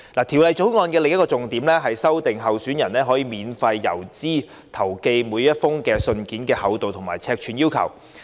《條例草案》另一個重點是修訂候選人可免付郵資投寄的每封信件的厚度和尺碼規定。